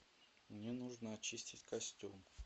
мне нужно очистить костюм